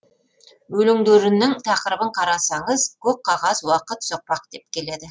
өлеңдерінің тақырыбын қарасаңыз көк қағаз уақыт соқпақ деп келеді